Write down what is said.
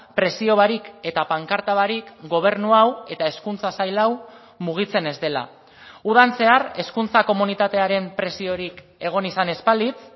presio barik eta pankarta barik gobernu hau eta hezkuntza sail hau mugitzen ez dela udan zehar hezkuntza komunitatearen presiorik egon izan ez balitz